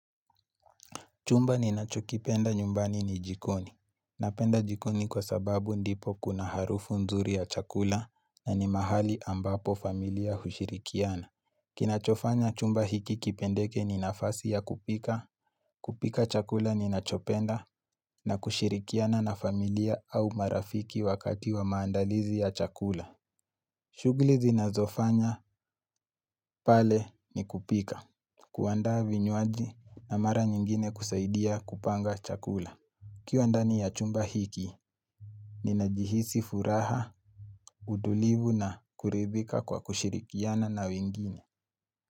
Chumba ninachokipenda nyumbani ni jikoni. Napenda jikoni kwa sababu ndipo kuna harufu nzuri ya chakula na ni mahali ambapo familia hushirikiana. Kinachofanya chumba hiki kipendeke ni nafasi ya kupika, kupika chakula ninachopenda na kushirikiana na familia au marafiki wakati wa maandalizi ya chakula. Shughuli zinazofanya pale ni kupika. Kuanda vinywaji na mara nyingine kusaidia kupanga chakula. Ukiwa ndani ya chumba hiki Ninajihisi furaha, utulivu na kuridhika kwa kushirikiana na wengine.